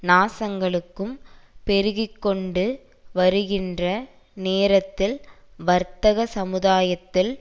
நாசங்களும் பெருகி கொண்டு வருகின்ற நேரத்தில் வர்த்தக சமுதாயத்தில்